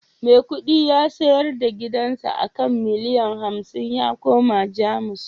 Maikudi ya sayar da gidansa a kan miliyan hamsin ya koma Jamus